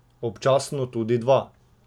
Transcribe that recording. Občasno tudi dva.